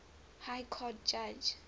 high court judge